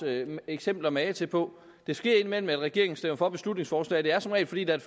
eksempler magen til på det sker indimellem at regeringen stemmer for beslutningsforslag det er som regel fordi der